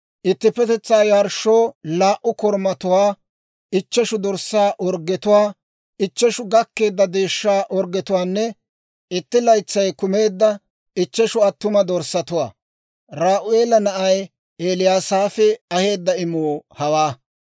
ittippetetsaa yarshshoo laa"u korumatuwaa, ichcheshu dorssaa orggetuwaa, ichcheshu gakkeedda deeshshaa orggetuwaanne itti laytsay kumeedda ichcheshu attuma dorssatuwaa. Re'u'eela na'ay Eliyasaafi aheedda imuu hawaa.